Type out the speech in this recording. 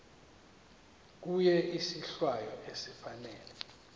kuye isohlwayo esifanele